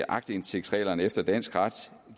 aktindsigtsreglerne efter dansk ret